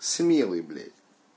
смелый блять